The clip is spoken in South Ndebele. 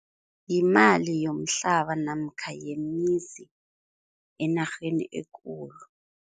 Yimali yomhlaba namkha yemizi enarheni ekulu.